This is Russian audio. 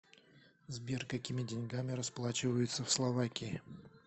сбер какими деньгами расплачиваются в словакии